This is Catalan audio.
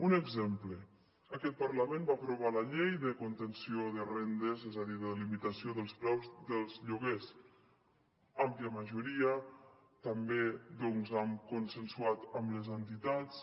un exemple aquest parlament va aprovar la llei de contenció de rendes és a dir de limitació dels preus dels lloguers àmplia majoria també consensuat amb les entitats